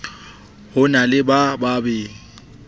ho na le ba babe